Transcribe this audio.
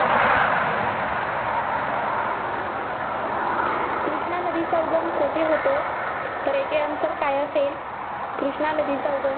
कृष्णा नदीचा उगम कोठे होतो? तर याचे answer काय असेल? कृष्णा नदीचा उगम